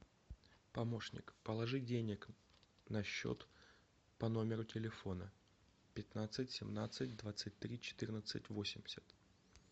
помощник положи денег на счет по номеру телефона пятнадцать семнадцать двадцать три четырнадцать восемьдесят